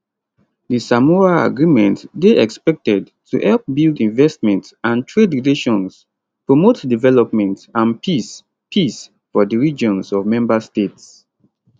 di samoa agreement dey expected to help build investment and trade relations promote development and peace peace for di regions of member states